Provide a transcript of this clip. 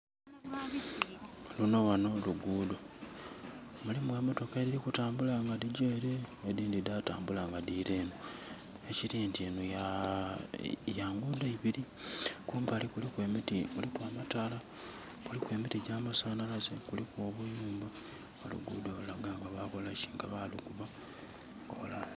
Luno ghano luguudho. Lulimu emotoka edhiri kutambula nga dhigya ele, edhindhi dhatambula nga dhira enho. Ekiri nti enho ya ya nguudho ibiri. Kumbali kuliku emiti, kuliku amataala. Kuliku emiti gya amasanhalaze, kuliku obuyumba. Era oluguudho lulaga nga balukola ki? Nga balukuba plan.